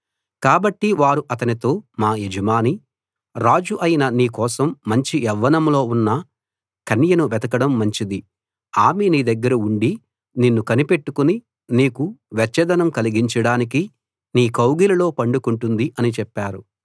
కాబట్టి వారు అతనితో మా యజమాని రాజు అయిన నీ కోసం మంచి యవ్వనంలో ఉన్న కన్యను వెతకడం మంచిది ఆమె నీ దగ్గర ఉండి నిన్ను కనిపెట్టుకుని నీకు వెచ్చదనం కలిగించడానికి నీ కౌగిలిలో పడుకుంటుంది అని చెప్పారు